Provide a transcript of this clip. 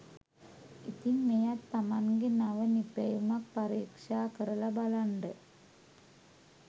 ඉතිං මෙයත් තමන්ගෙ නව නිපැයුමක් පරීක්ෂා කරල බලන්ඩ